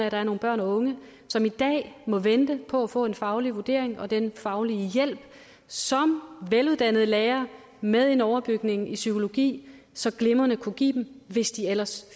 at der er nogle børn og unge som i dag må vente på at få en faglig vurdering og den faglige hjælp som veluddannede lærere med en overbygning i psykologi så glimrende kunne give dem hvis de ellers